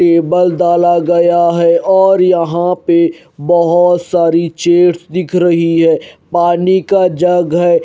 Table दाला गया है और यहां पे बहोत सारी चेयर्स दिख रही है पानी का जग है।